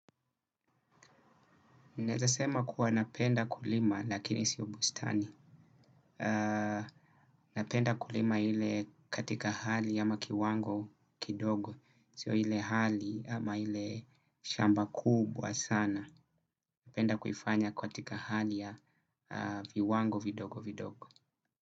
Naweza sema kuwa napenda kulima lakini sio bustani. Napenda kulima ile katika hali ama kiwango kidogo. Sio ile hali ama ile shamba kubwa sana. Napenda kuifanya katika hali ya viwango vidogo vidogo.